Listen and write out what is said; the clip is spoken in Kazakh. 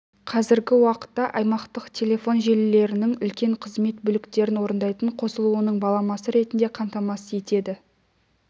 қазіргі уақытта аймақтық телефон желілерінің үлкен қызмет бөліктерін орындайтын қосылуының баламасы ретінде қамтамасыз етеді